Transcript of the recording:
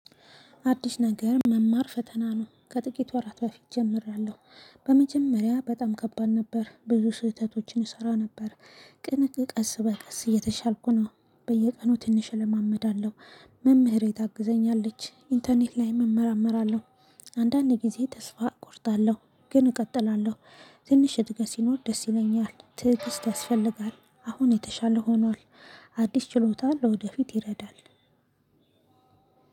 አዲስ ነገር መማር ፈተና ነው ከጥቂት ወራት በፊት እጀምራለሁ። በመጀመሪያ በጣም ከባድ ነበር ብዙ ስህተቶችን እሰራ ነበር። ግን ቀስ በቀስ እየተሻልኩ ነው። በየቀኑ ትንሽ እለማመዳለሁ መምህሬ ታግዘኛለች ኢንተርኔት ላይም እመራመራለሁ። አንዳንዴ ጊዜ ተስፋ እቆርጣለሁ ግን እቀጥላለሁ። ትንሽ እድገት ሲኖር ደስ ይለኛል ትዕግስት ያስፈልጋል። አሁን የተሻለ ሆኗል። አዲስ ችሎታ ለወደፊት ይረዳል።